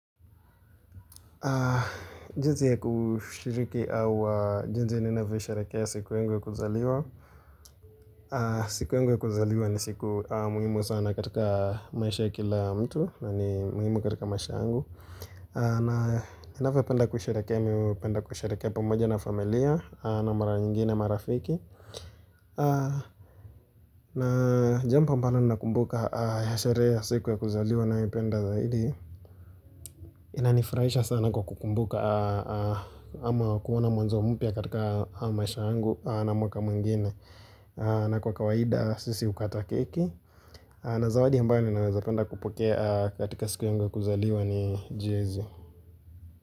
Jinsi ya kushiriki au jinsi ninavyo isharekea siku yangu ya kuzaliwa. Siku yangu ya kuzaliwa ni siku muhimu sana katika maisha kila mtu. Na ni muhimu katika maisha yangu. Na ninavyopenda kusherekea mimi hupenda kusherekea pamoja na familia. Na mara nyingine marafiki na jambo ambalo ninakumbuka sherehe ya siku ya kuzaliwa naipenda zaidi. Inanifurahisha sana kwa kukumbuka ama kuona mwanzo mpya katika maisha yangu na mwaka mwingine. Na kwa kawaida sisi hukata keki. Na zawadi ambayo ni naweza penda kupokea katika siku yangu kuzaliwa ni jezi.